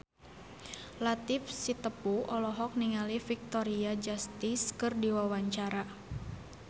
Latief Sitepu olohok ningali Victoria Justice keur diwawancara